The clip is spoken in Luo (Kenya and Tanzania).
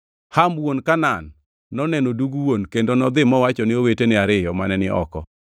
Ham wuon Kanaan noneno dug wuon kendo nodhi mowachone owetene ariyo mane ni oko.